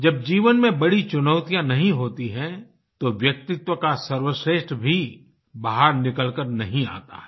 जब जीवन मे बड़ी चुनौतियाँ नहीं होती हैं तो व्यक्तित्व का सर्वश्रेष्ठ भी बाहर निकल कर नहीं आता है